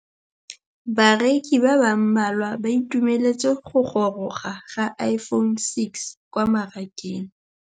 Bareki ba ba malwa ba ituemeletse go gôrôga ga Iphone6 kwa mmarakeng.